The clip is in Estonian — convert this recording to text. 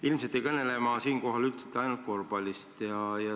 Ilmselt ei kõnele ma siinkohal ainult korvpallist.